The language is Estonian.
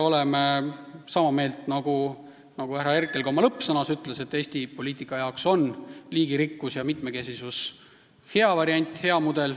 Härra Herkel ütles oma lõppsõnas, et Eesti poliitika jaoks on liigirikkus ja mitmekesisus hea variant, hea mudel.